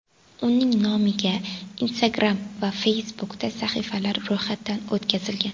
Uning nomiga Instagram va Facebook’da sahifalar ro‘yxatdan o‘tkazilgan.